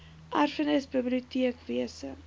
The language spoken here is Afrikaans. erfenis biblioteek wese